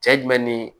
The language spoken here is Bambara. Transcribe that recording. Cɛ jumɛn ni